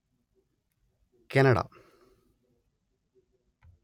Canada